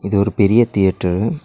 இது ஒரு பெரிய தியேட்டரு .